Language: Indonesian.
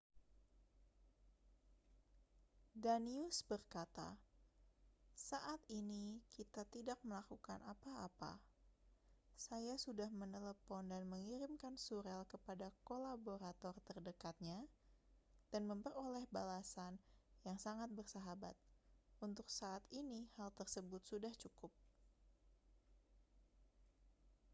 danius berkata saat ini kita tidak melakukan apa-apa saya sudah menelepon dan mengirimkan surel kepada kolaborator terdekatnya dan memperoleh balasan yang sangat bersahabat untuk saat ini hal tersebut sudah cukup